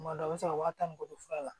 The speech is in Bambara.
Tuma dɔ la a bɛ se ka wa tan ni kɔ fura la